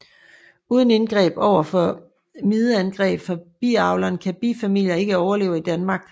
Uden indgreb overfor mideangreb fra biavleren kan bifamilier ikke overleve i Danmark